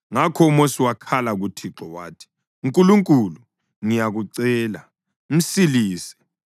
Ngakho uMosi wakhala kuThixo wathi, “Nkulunkulu, ngiyakucela, msilise.”